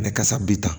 kasa bi ta